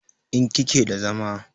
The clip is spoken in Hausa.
in kike da zama?